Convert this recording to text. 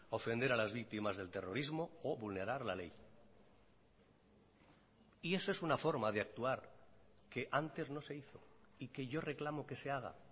ofender a las víctimas del terrorismo o vulnerar la ley y eso es una forma de actuar que antes no se hizo y que yo reclamo que se haga